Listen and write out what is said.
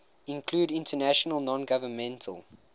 include international nongovernmental